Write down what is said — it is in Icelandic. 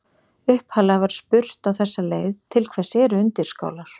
Upphaflega var spurt á þessa leið: Til hvers eru undirskálar?